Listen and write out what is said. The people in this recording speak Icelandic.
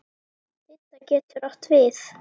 Didda getur átt við